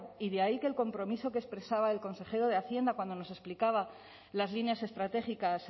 y de ahí que el compromiso que expresaba el consejero de hacienda cuando nos explicaba las líneas estratégicas